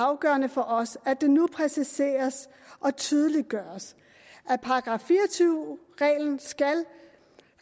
afgørende for os at det nu præciseres og tydeliggøres at § fire og tyve reglen skal